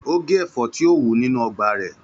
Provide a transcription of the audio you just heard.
Ó gé ẹ̀fọ́ tí ó wù nínú ọgbà rẹ̀.